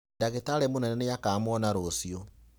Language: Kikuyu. Ndagitarĩ mũnene nĩakamwona rũciũ.